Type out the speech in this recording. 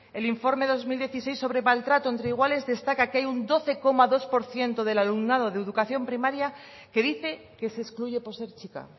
el informe dos mil dieciséis sobre maltrato entre iguales destaca que hay un doce coma dos por ciento del alumnado de educación primaria que dice que se excluye por ser chica